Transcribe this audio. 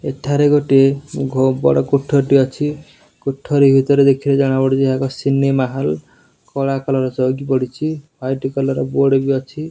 ଏଠାରେ ଗୋଟିଏ ବହୁତ ବଡ କୋଠରୀ ଟିଏ ଅଛି। କୋଠରୀ ଭିତରେ ଦେଖିଲେ ଜଣା ପଡ଼ୁଚି। ଏହା ଏକ ସିନେମା ହଲ କଳା କଲର ଚୌକି ପଡ଼ିଚି। ୱାଇଟ କଲର ବୋର୍ଡ ବି ଅଛି।